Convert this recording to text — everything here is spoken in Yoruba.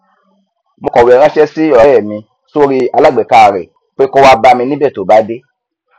mo kọwé ranṣẹ sí ọrẹ mi sórí alágbèéká rẹ pé kó wá bámi níbẹ tó bá dé